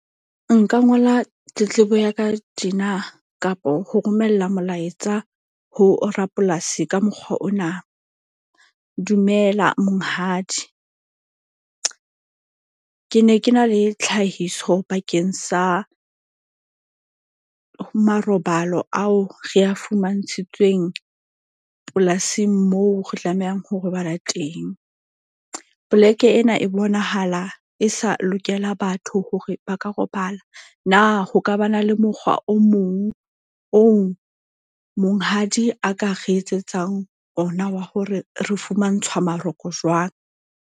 Nka ngola tletlebo ya ka tjena kapo ho romella molaetsa ho rapolasi ka mokgwa ona. Dumela monghadi. Ke ne ke na le tlhahiso bakeng sa marobalo ao re a fumantshitsweng polasing moo re tlamehang ho robala teng. Poleke ena e bonahala e sa lokela batho hore ba ka robala. Na ho ka ba na le mokgwa o mong oo monghadi a ka re etsetsang ona wa hore re fumantshwa maroko jwang?